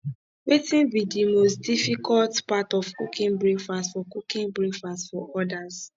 wetin be di most difficult part of cooking breakfast for cooking breakfast for odas